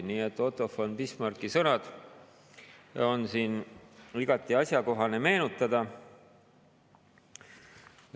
Nii et Otto von Bismarcki sõnu on siin igati asjakohane meenutada.